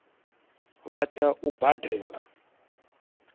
vha tea u i badela